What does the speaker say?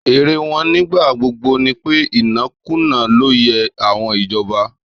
Èrò wọn nígbà gbogbo ni pé, ìnákùná ló yẹ owó ìjọba.